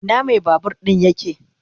Ina mai babur din yake?